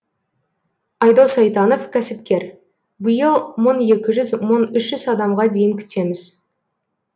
айдос айтанов кәсіпкер биыл мың екі жүз мың үш жүз адамға дейін күтеміз